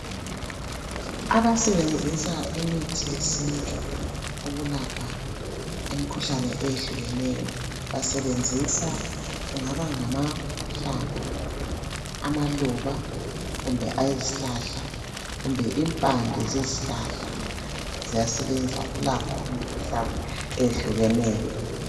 Abasebenzisa imithi yesintu ukulapha imikhuhlane eyehlukeneyo, basebenzisa, kungaba ngamahlamvu, amaluba, kumbe ayezihlahla, kumbe impande zezihlahla ziyasebenza ukulapha imikhuhlane eyehlukeneyo.